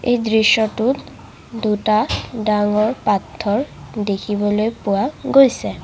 এই দৃশ্যটোত দুটা ডাঙৰ পাথৰ দেখিবলৈ পোৱা গৈছে।